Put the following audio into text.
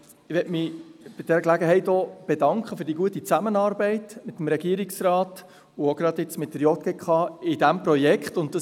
Ich möchte mich bei dieser Gelegenheit auch für die gute Zusammenarbeit mit dem Regierungsrat und, jetzt gerade in diesem Projekt, mit der JGK bedanken.